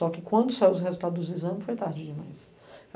Só que quando saiu o resultado dos exames, foi tarde demais.